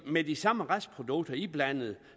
med de samme restprodukter iblandet